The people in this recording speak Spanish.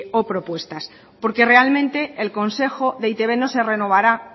o propuestas porque realmente el consejo de e i te be no se renovará